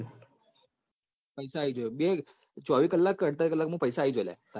પઇસા આયીજોય ચોવી કલાક ક અડતાલી કલાક મો પઇસા આઇજોય